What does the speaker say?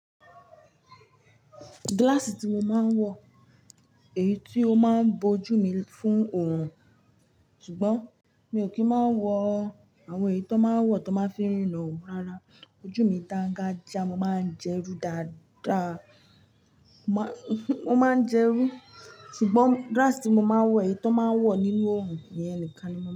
Gíláàsì tí mo máa ń wọ, èyí tí ó máa ń bó ojú mi fún oòrùn, ṣùgbọ́n mi ò kí ń máa ń wọ àwọn èyí tó máa ń wọ̀ tó máa ń fi riran o. Rárá, ojú mi dáńgájíá, mo máa ń jẹ irú dáadáa. Mo máa ń jẹ irú, ṣùgbọ́n gíláàsì tí mo máa ń wọ, èyí tó máa ń wọ nínú oòrùn ìyẹn nìkan ni.